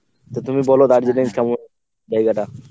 তা তুমি বল দার্জিলিং কেমন জায়গাটা?